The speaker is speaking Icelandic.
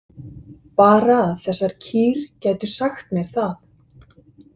Bara að þessar kýr gætu sagt mér það.